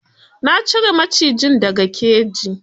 Na cire macijin da ga keji.